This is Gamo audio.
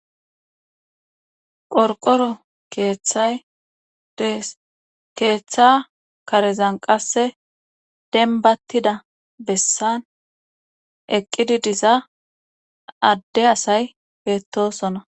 Qorqoro keeththay dees keeththa karezan qasse dembattida bessan eqqidi diza adde asay beettosona.